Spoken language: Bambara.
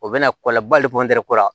O bɛna kɔlɔnlaba le kɔni ko la